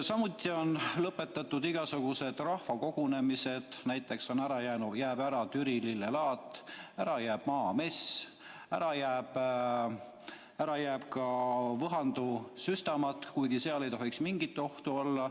Samuti on lõpetatud igasugused rahvakogunemised, näiteks jääb ära Türi lillelaat, ära jääb Maamess, ära jääb ka Võhandu süstamatk, kuigi seal ei tohiks mingit ohtu olla.